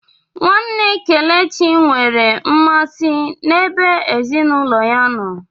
Nwanne Kelechi nwere mmasị n'ebe ezinụlọ ya nọ.